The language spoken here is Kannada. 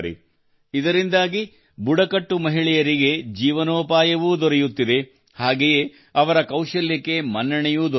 ಇದರಿಂದಾಗಿ ಬುಡಕಟ್ಟು ಮಹಿಳೆಯರಿಗೆ ಜೀವನೋಪಾಯವೂ ದೊರೆಯುತ್ತಿದೆ ಹಾಗೆಯೇ ಅವರ ಕೌಶಲ್ಯಕ್ಕೆ ಮನ್ನಣೆಯೂ ದೊರೆಯುತ್ತಿದೆ